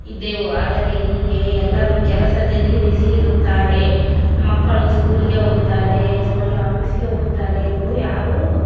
ಇದ್ದೆವು ಆದರೆ ಹೀಗೆ ಎಲ್ಲರೂ ಕೆಲಸದಲ್ಲಿ ಬಿಸಿ ಇರುತ್ತಾರೆ ಮಕ್ಕಳು ಸ್ಕೂಲಿ ಗೆ ಹೋಗುತ್ತಾರೆ ಯಜಮಾನರು ಆಫೀಸ್ ಗೆ ಹೋಗುತ್ತಾರೆ ಎಂದು ಯಾರು --